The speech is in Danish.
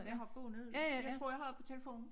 Jeg har båndet jeg tror jeg har det på telefonen